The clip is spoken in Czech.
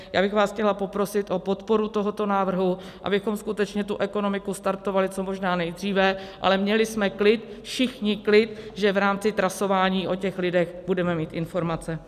Já bych vás chtěla poprosit o podporu tohoto návrhu, abychom skutečně tu ekonomiku startovali co možná nejdříve, ale měli jsme klid, všichni klid, že v rámci trasování o těch lidech budeme mít informace.